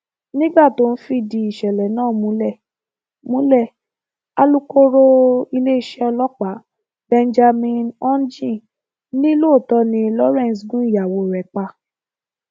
nígbà tó ń fìdí ìṣẹlẹ náà múlẹ múlẹ alūkkóró iléeṣẹ ọlọpàá benjamin hondyin ni lóòótọ ni lawrence gun ìyàwó rẹ pa